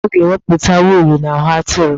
Ndị ọrụ ugbo ga-ewepụta wuulu n'ahụ atụrụ.